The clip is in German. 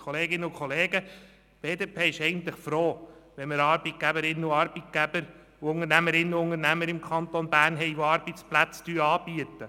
Kolleginnen und Kollegen, die BDP ist eigentlich froh, wenn wir Arbeitgeberinnen und Arbeitgeber, Unternehmerinnen und Unternehmer im Kanton Bern haben, die Arbeitsplätze anbieten.